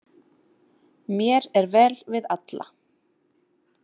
Mér er vel við alla.